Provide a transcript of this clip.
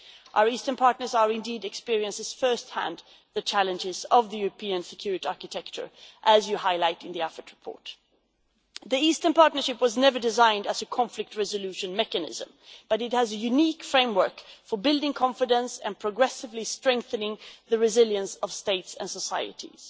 Our Eastern partners are indeed experiencing at first hand the challenges of the European security architecture, as the Foreign Affairs Committee report highlights. The Eastern Partnership was never designed as a conflict resolution mechanism, but it has a unique framework for building confidence and progressively strengthening the resilience of states and societies.